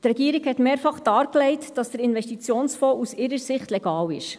Die Regierung legte mehrfach dar, dass der Investitionsfonds aus ihrer Sicht legal ist.